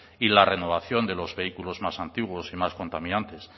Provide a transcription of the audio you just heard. y la renovación de los vehículos más antiguos y más contaminantes